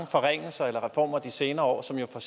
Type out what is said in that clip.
forringelser eller reformer de senere år som jo for